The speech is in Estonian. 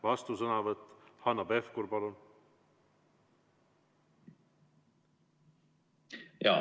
Vastusõnavõtt, Hanno Pevkur, palun!